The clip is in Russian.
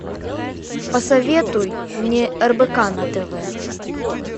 посоветуй мне рбк на тв